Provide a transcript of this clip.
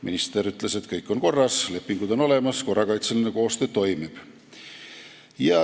Minister ütles, et kõik on korras, lepingud on olemas ja korrakaitseline koostöö toimib.